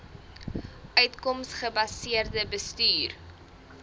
uitkoms gebaseerde bestuur